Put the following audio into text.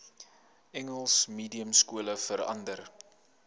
engels mediumskole verander